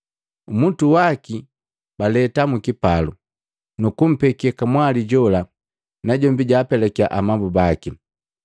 Umutu waki baleta mu kipalu, nukumpeke kamwali jola, najombi jaapelakiya amabu baki.